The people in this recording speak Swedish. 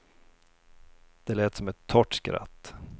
Det lät som ett torrt skratt.